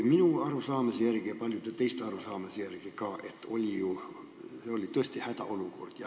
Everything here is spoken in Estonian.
Minu arusaamise järgi ja ka paljude teiste arusaamise järgi oli see tõesti hädaolukord.